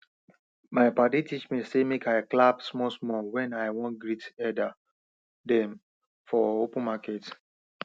my padi teach me say make i clap smallsmall when i wan greet elder dem for open market